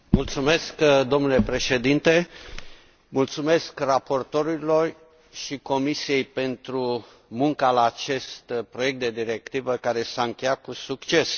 Mulțumesc domnule președinte, mulțumesc raportorilor și Comisiei pentru munca la acest proiect de directivă, care s a încheiat cu succes.